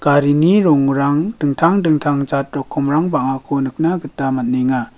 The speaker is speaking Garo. rongrang dingtang dingtang jat rokkomrang bang·ako nikna gita man·enga.